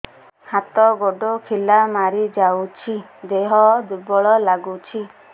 ହାତ ଗୋଡ ଖିଲା ମାରିଯାଉଛି ଦେହ ଦୁର୍ବଳ ଲାଗୁଚି